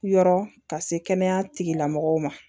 Yɔrɔ ka se kɛnɛya tigila mɔgɔw ma